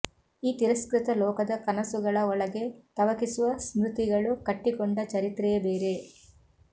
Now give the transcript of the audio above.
ಈ ತಿರಸ್ಕೃತ ಲೋಕದ ಕನಸುಗಳ ಒಳಗೆ ತವಕಿಸುವ ಸ್ಮೃತಿಗಳು ಕಟ್ಟಿಕೊಂಡ ಚರಿತ್ರೆಯೇ ಬೇರೆ